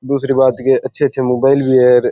दूसरी बात ये अच्छे अच्छे मोबाईल भी है और --